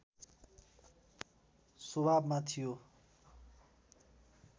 स्वभावमा थियो